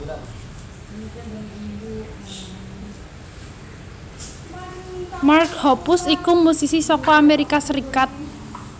Mark Hoppus iku musisi saka Amerika Serikat